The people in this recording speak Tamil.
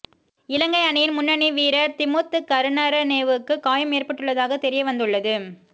இலங்கை அணியின் முன்னணி வீரர் திமுத் கருணரத்னேவுக்கு காயம் ஏற்பட்டுள்ளதாக தெரியவந்துள்ளது